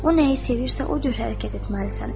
O nəyi sevirsə, o cür hərəkət etməlisən.